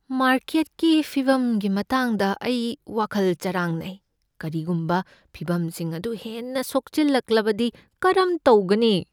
ꯃꯥꯔꯀꯦꯠꯀꯤ ꯐꯤꯕꯝꯒꯤ ꯃꯇꯥꯡꯗ ꯑꯩ ꯋꯥꯈꯜ ꯆꯥꯔꯥꯡꯅꯩ꯫ ꯀꯔꯤꯒꯨꯝꯕ ꯐꯤꯚꯝꯁꯤꯡ ꯑꯗꯨ ꯍꯦꯟꯅ ꯁꯣꯛꯆꯤꯜꯂꯛꯂꯕꯗꯤ ꯀꯔꯝ ꯇꯧꯒꯅꯤ?